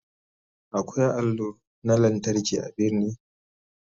Akwai allo na lantarki a birni.